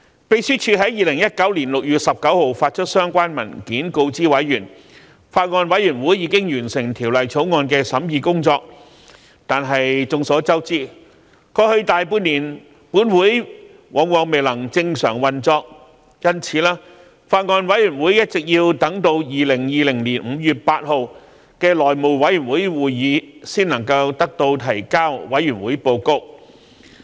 秘書處在2019年6月19日發出相關文件告知委員，法案委員會已經完成《條例草案》的審議工作；但眾所周知，過去大半年，本會往往未能正常運作，因此法案委員會一直要等至2020年5月8日的內務委員會會議才能提交報告。